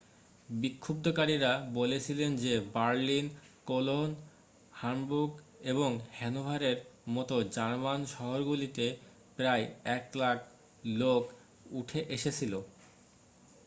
বিক্ষুব্ধকারীরা বলেছিলেন যে Berlin Cologne Hamburg এবং হ্যানোভারের মতো জার্মান শহরগুলিতে প্রায় 100,000 লোক উঠে এসেছিল